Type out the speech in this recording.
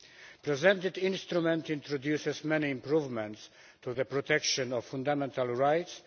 The presented instrument introduces many improvements to the protection of fundamental rights.